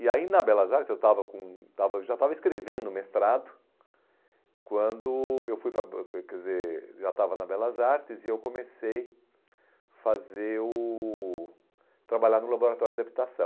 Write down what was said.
E aí na Belas Artes, eu estava com estava já estava escrevendo o mestrado, quando eu fui para, quer dizer, já estava na Belas Artes e eu comecei fazer o a trabalhar no laboratório de habitação.